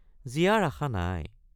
জীয়াৰ আশা নাই।